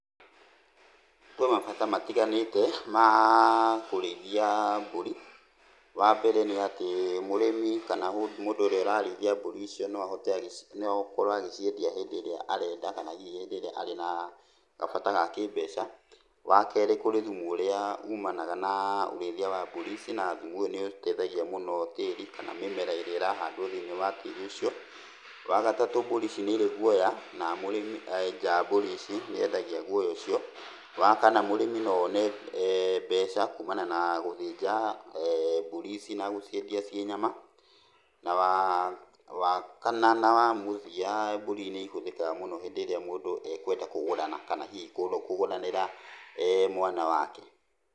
Kwĩ mabata matiganĩte ma kũrĩithia mbũri, wambere nĩ atĩ mũrĩmi kana mũndũ ũrĩa ũrarĩithia mbũri icio no ahote, no akorwo agĩciendia hĩndĩ ĩrĩa arenda kana hihi hĩndĩ ĩrĩa arĩ na gabata ga kĩmbeca, wakerĩ kũrĩ thumu ũrĩa ũmanaga na ũrĩithia wa mbũri ici na thumu ũyũ nĩ ũteithagia mũno tĩri kana mĩmera ĩrĩa ĩrahandwo thĩiniĩ wa tĩri ũcio, wagatatũ mbũri ici nĩ ĩrĩ guoya na mũrĩmi enja mbũri ici nĩ endagia guoya ũcio, wakana mũrĩmi no one mbeca kumana na gũthĩnja mbũri ici na gũcĩendia ciĩ nyama, na wa wa kana na wa mũthia mbũri nĩ ĩhũthĩkaga mũno hĩndĩ ĩrĩa mũndũ ekwenda kũgũrana kana hihi kũgũranĩra mwana wake.